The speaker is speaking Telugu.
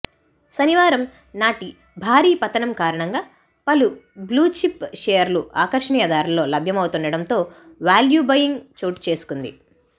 శనివారం నాటి భారీ పతనం కారణంగా పలు బ్లూచిప్ షేర్లు ఆకర్షణీయ ధరల్లో లభ్యమవుతుండటంతో వేల్యూ బయింగ్ చోటుచేసుకుంది